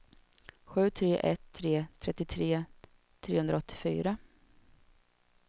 sju tre ett tre trettiotre trehundraåttiofyra